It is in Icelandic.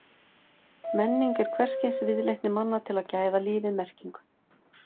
Menning er hvers kyns viðleitni manna til að gæða lífið merkingu.